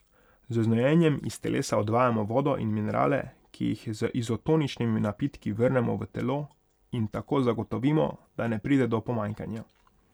Z znojenjem iz telesa odvajamo vodo in minerale, ki jih z izotoničnimi napitki vrnemo v telo in tako zagotovimo, da ne pride do pomanjkanja.